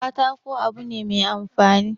Katako abu ne mai amfani